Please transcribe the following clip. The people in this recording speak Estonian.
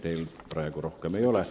Teile praegu rohkem küsimusi ei ole.